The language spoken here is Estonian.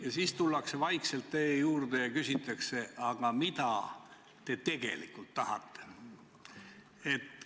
Ja siis tullakse vaikselt teie juurde ja küsitakse: aga mida te tegelikult tahate?